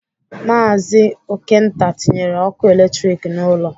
Maazi Okenta tinyere ọkụ eletrik n'ụlọ